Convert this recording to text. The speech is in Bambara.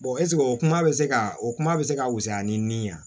ɛsike o kuma be se ka o kuma be se ka fusaya ni nin ye wa